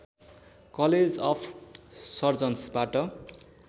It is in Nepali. college of सर्जन्सबाट